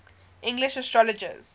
english astrologers